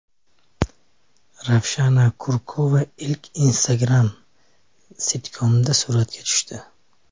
Ravshana Kurkova ilk Instagram-sitkomda suratga tushdi.